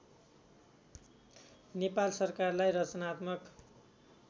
नेपाल सरकारलाई रचनात्मक